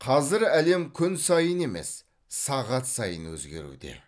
қазір әлем күн сайын емес сағат сайын өзгеруде